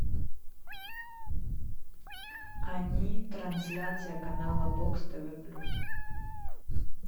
они трансляция канала бокс тв плюс